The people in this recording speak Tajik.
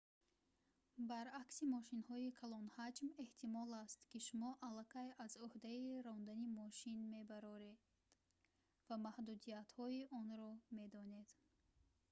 баръакси мошинҳои калонҳаҷм эҳтимол аст ки шумо аллакай аз ӯҳдаи рондани мошин мебароед ва маҳдудиятҳои онро медонед